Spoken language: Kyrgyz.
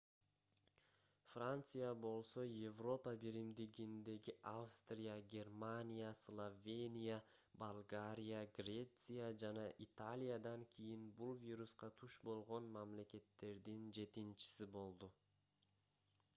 франция болсо европа биримдигиндеги австрия германия словения болгария греция жана италиядан кийин бул вируска туш болгон мамлекеттердин жетинчиси болду